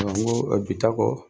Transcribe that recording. Ɔn n ko bi ta kɔ